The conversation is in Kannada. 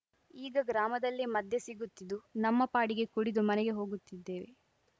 ಈಗ ಗ್ರಾಮದಲ್ಲೇ ಮದ್ಯ ಸಿಗುತ್ತಿದ್ದು ನಮ್ಮ ಪಾಡಿಗೆ ಕುಡಿದು ಮನೆಗೆ ಹೋಗುತ್ತಿದ್ದೇವೆ